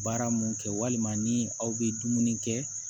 Baara mun kɛ walima ni aw bɛ dumuni kɛ